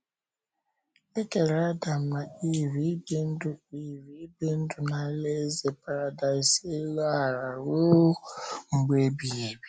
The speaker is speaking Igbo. E kere Adam na Iv ibi ndụ Iv ibi ndụ na alaeze paradaịs elu ala ruo mgbe ebighị ebi